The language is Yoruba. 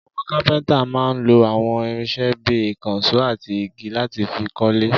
Àwọn kápẹ́ńtà máa ń lo àwọn irinṣẹ́ bí i ìkànṣó àti igi láti fi kọ́lé.